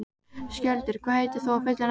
Skjöldur, hvað heitir þú fullu nafni?